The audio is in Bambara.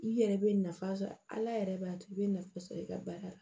I yɛrɛ bɛ nafa sɔrɔ ala yɛrɛ b'a to i bɛ nafa sɔrɔ i ka baara la